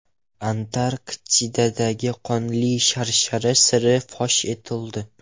Antarktidadagi Qonli sharshara siri fosh etildi.